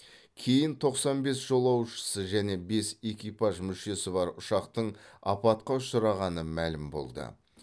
кейін тоқсан бес жолаушысы және бес экипаж мүшесі бар ұшақтың апатқа ұшырағаны мәлім болды